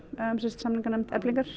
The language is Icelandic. samninganefnd Eflingar